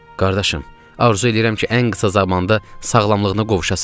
Qardaşım, arzu eləyirəm ki, ən qısa zamanda sağlamlığına qovuşasan.